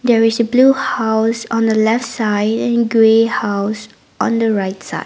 there is a blue house on the left side and grey house on the right side.